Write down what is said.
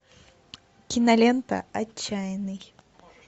кинолента отчаянный